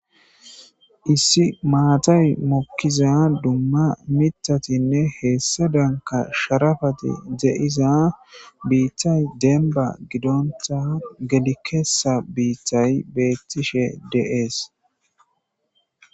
issi maatay mokkiza dumma mitatinne heessa danka sharafati de7iza biittay denba gidonta gedikesa biittay beettishe de7ees